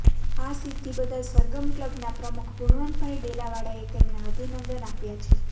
આ સિધ્ધિ બદલ સરગમ ક્લબના પ્રમુખ ગુણવંતભાઈ ડેલાવાળાએ તેમને અભિનંદન આપ્યા છે